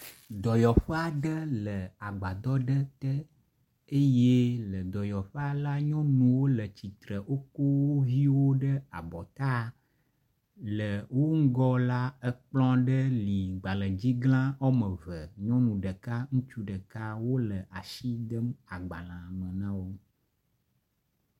dɔyɔƒe aɖe le agbadɔ aɖe te eye le dɔyɔƒea la nyɔnuwo le tsitre woko wo viwo ɖe abɔta. Le wo ŋgɔ la ekplɔ aɖe li gbaledzigla wɔme eve. Nyɔnu ɖeka ŋutsu ɖeka wo asi dem agbalea me na wo.